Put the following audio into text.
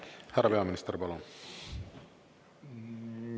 Härra peaminister, palun!